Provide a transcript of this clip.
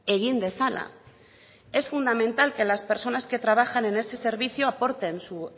egin dezala es fundamental que las personas que trabajan en ese servicio aporten su